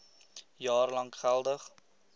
jaar lank geldig